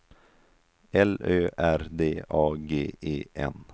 L Ö R D A G E N